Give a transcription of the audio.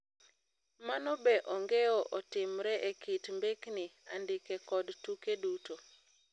Mano be ongeo otimre e kit mbekni, andike kod tuke duto.